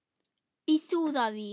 Í súðavík